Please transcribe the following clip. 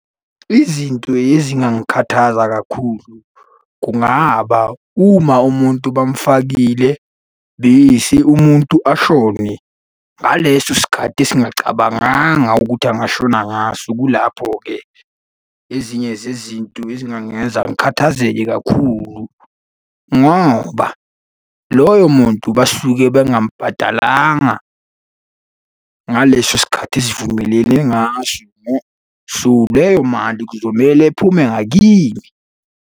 Izinto ezingangikhathaza kakhulu kungaba uma umuntu bamufakile, bese umuntu ashone, ngaleso sikhathi esingacabanganga ukuthi angashona ngaso kulapho-ke ezinye zezinto ezingangenza ngikhathazeke kakhulu ngoba loyo muntu basuke bengamubhadalanga ngaleso sikhathi esivumelene ngaso . So, leyo mali kuzomele iphume ngakimi.